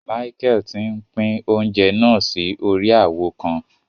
Michael tí n'pin oúnjẹ náà si órí awo kàn